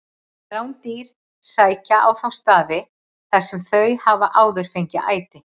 Rándýr sækja á þá staði þar sem þau hafa áður fengið æti.